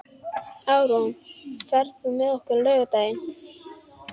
Árún, ferð þú með okkur á laugardaginn?